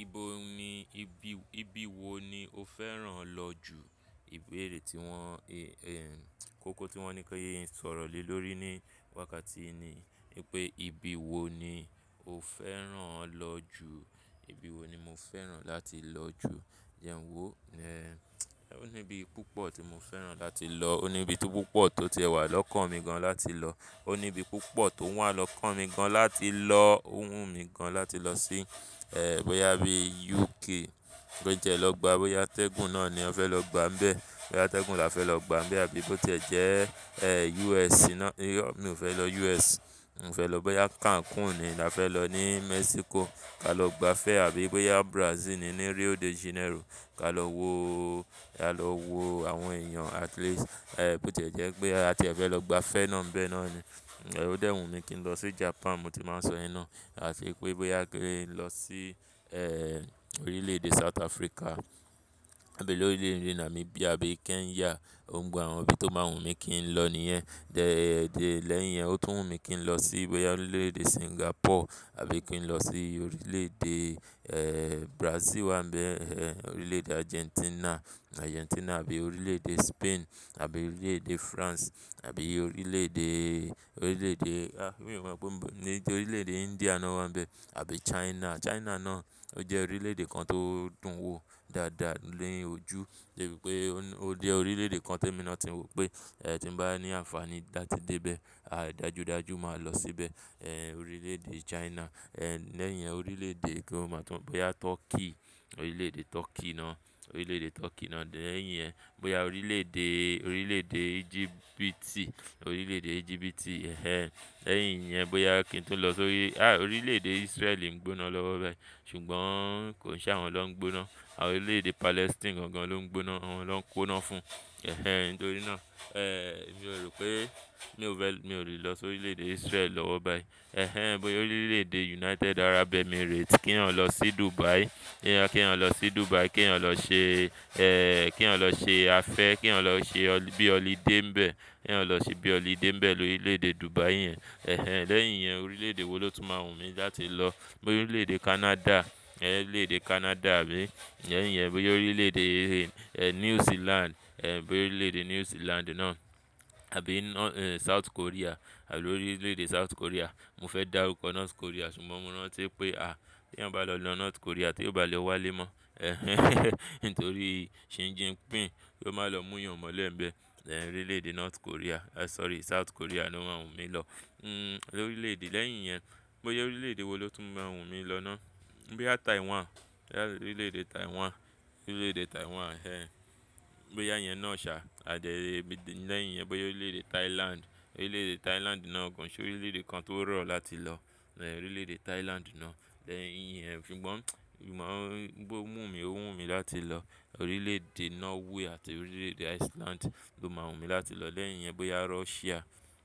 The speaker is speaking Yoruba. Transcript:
Ibo ni ibi, ibi wo ni o fẹ́ràn lọ jù? Ìbéèrè tí wọ́n, kókó tí wọ́n ní kí n sọ̀rọ̀ lé lórí ní wákàtí ni wípé ibi wo ni o fẹ́ràn lọ jù? Ibi wo ni mo fẹ́ràn láti lọ jù, jẹ́ń wo ó ní ibi púpọ̀ tí mo fẹ́ràn láti lọ. Ó ní ibi tó púpọ̀ tó tiẹ wà lọ́kàn mi gan láti lọ. Ó ní ibi púpọ̀ tó wà lọ kàn mi gan láti lọ, o wùmí gan láti lọ sí bóyá bí UK, bóyá jẹ lọ gba, bóyá tẹ́gùn náà ni a fẹ́ lọ gbá ńbẹ. Bóyá atẹ́gùn la fẹ́ lọ gbá ńbẹ àbí bó tí ẹ̀ jẹ́ US náà, mi ò fẹ́ lọ US. Mi ò fẹ́ lọ, bóyá Cancun ni a fẹ́ lọ ní Mexico, ká lọ gba fẹ àbí bóyá Brazil ni, ní Rio de Janeiro, ká lọ wo, ká lọ wo àwọn èèyàn at least bó tí ẹ̀ jẹ́ pé àti ẹ fẹ́ lọ gba fẹ́ náà ńbẹ náà ni. Ó dẹ́ wùmí kí n lọ sí Japan, mo ti máa sọ yẹn náà. À fi pé bóyá kí n lọ sí orílẹ̀ èdè South Africa. Níbo l'orílè mi nàmíbíà àbí Kenya. Gbogbo àwọn ibi tó máa wùn mí kí n lọ nìyẹn. Dẹ́, lẹ́yìn yẹn ó tún wùn mí kí n lọ sí bóyá orílẹ̀-èdè Singapore àbí kí n lọ sí orílẹ̀-èdè Brazil wà ńbẹ, orílẹ̀-èdè Argentina, Argentina àbí orílẹ̀-èdè Spain àbí orílẹ̀-èdè France àbí orílẹ̀-èdè, orílẹ̀-èdè, a mi ò mọ gbogbo níbí tó orílẹ̀-èdè India náà wà ńbẹ àbí China. China náà ó jẹ́ orílẹ̀-èdè kan tó dùn wò dáadáa ní ojú. Débi pé ó jẹ́ orílẹ̀-èdè kan tí èmi náà ti wò pé tí n bá ní àǹfàní láti dé bẹ, a dájú dájú máa lọ síbẹ̀ orílẹ̀-èdè China. Lẹ́yìn yẹn orílẹ̀-èdè kí ó máa tún, bóyá Turkey, orílẹ̀-èdè Turkey náà, orílẹ̀-èdè Turkey náà. Lẹ́yìn yẹn bóyá orílẹ̀-èdè, orílẹ̀-èdè Egypt, orílẹ̀-èdè Egypt ẹh. Lẹ́yìn yẹn bóyá kí n tún lọ sórí, a orílẹ̀-èdè Israel ń gbóná lọ́wọ́ bẹ́ẹ̀ ṣùgbọ́n kò n ṣe àwọn lọ́ ń gbóná. Àwọn orílẹ̀-èdè Palestine gan gan ló ń gbóná, wọn lọ ń kponá fún nítorí náà. Mi ò rò pé mi ò fẹ́, mi ò lè lọ sórí orílẹ̀-èdè Israel lọ́wọ́ báyìí. Bóyá orílẹ̀-èdè United Arab Emirates kíwọ́n lọ sí Dubai, kí èèyàn lọ sí Dubai, kí èèyàn lọ ṣe kí èèyàn lọ ṣe afẹ́, kí èèyàn lọ ṣe ọ bí holiday ńbẹ. Kí èèyàn lọ sí bí holiday ńbẹ lórílẹ̀-èdè Dubai yẹn ẹh. Lẹ́yìn yẹn orílẹ̀-èdè wo ló tún máa wùn mí láti lọ? Bóyá orílẹ̀-èdè Canada, orílẹ̀-èdè Canada àbí lẹ́yìn yẹn bóyá orílẹ̀-èdè New Zealand, bóyá orílẹ̀-èdè New Zealand náà àbí South Korea àbí orílẹ̀-èdè South Korea. Mo fẹ́ dárúkọ North Korea ṣùgbọ́n mo rántí pé a tí èèyàn bá lọ lọ North Korea tí òo bá'le wá lé mọ́ nítorí Shin Jinpin kó máa lọ mú èèyàn mọ́lẹ̀ ńbẹ. Orílẹ̀-èdè North Korea, a sorry South Korea ló máa wùn mí lọ. Lórílẹ̀-èdè lẹ́yìn yẹn bóyá orílẹ̀-èdè wo ló tún máa wùn mí lọ náà? Bóyá Taiwan, orílẹ̀-èdè Taiwan, orílẹ̀-èdè Taiwan ẹh. Bóyá ìyẹn náà ṣá àdíẹlẹ́yìn yẹn bóyá orílẹ̀-èdè Thailand, orílẹ̀-èdè Thailand náà gan ṣé orílẹ̀-èdè kan tó rọ̀ láti lọ orílẹ̀-èdè Thailand náà. Lẹ́yìn yẹn ṣùgbọ́n, ṣùgbọ́n ó wùn mí, ó wùn mí láti lọ orílẹ̀-èdè Norway àti orílẹ̀-èdè Iceland ló máa wùn mí láti lọ. Lẹ́yìn yẹn bóyá Russia,